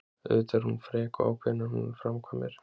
Auðvitað er hún frek og ákveðin, en hún framkvæmir.